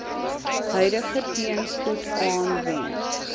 huidige teenspoed aanwend